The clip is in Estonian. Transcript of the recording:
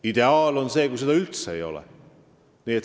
Ideaal on see, kui seda üldse ei ole.